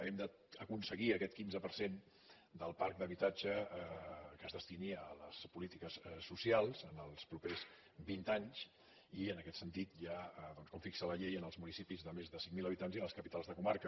hem d’aconseguir que aquest quinze per cent del parc d’habitatge es destini a les polítiques socials els propers vint anys i en aquest sentit ja doncs com fixa la llei en els municipis de més de cinc mil habitants i en les capitals de comarca